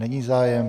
Není zájem.